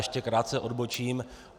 Ještě krátce odbočím.